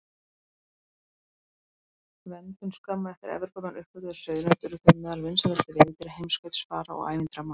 Verndun Skömmu eftir að Evrópumenn uppgötvuðu sauðnaut urðu þau meðal vinsælustu veiðidýra heimskautsfara og ævintýramanna.